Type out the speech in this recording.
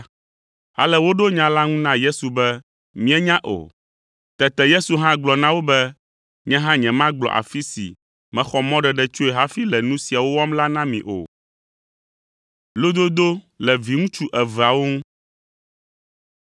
Ale woɖo nya la ŋu na Yesu be, “Míenya o.” Tete Yesu hã gblɔ na wo be, “Nye hã nyemagblɔ afi si mexɔ mɔɖeɖe tsoe hafi le nu siawo wɔm la na mi o.”